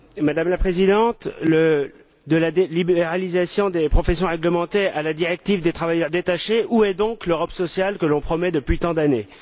Madame la Présidente, de la libéralisation des professions réglementées à la directive des travailleurs détachés, où est donc l'Europe sociale que l'on promet depuis tant d'années?